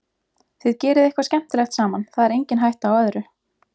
Þið gerið eitthvað skemmtilegt saman, það er engin hætta á öðru.